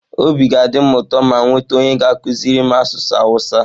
Obi ga-adị m ụtọ ma m nweta onye ga-akụziri m asụsụ awụsa.